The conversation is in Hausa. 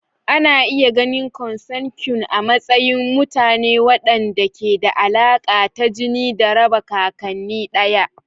Ana iya ganin Consanguine a matsayin mutane waɗanda ke da alaƙa ta jini da raba kakanni ɗaya.